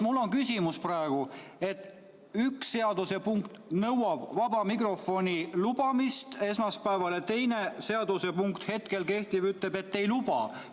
Mul on küsimus: üks seadusepunkt nõuab vaba mikrofoni vooru esmaspäeval ja teine seadusepunkt, hetkel kehtiv, ütleb, et see tingimata ei pruugi toimuda.